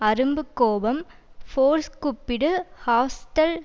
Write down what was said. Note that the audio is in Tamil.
அரும்பு கோபம் ஃபோர்ஸ் கூப்பிடு ஹாஸ்டல்